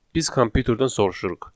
Biz kompüterdən soruşuruq.